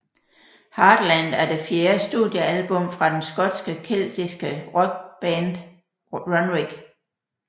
Heartland er det fjerde studiealbum fra den skotske keltiske rockband Runrig